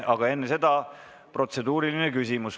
Aga enne seda on protseduuriline küsimus.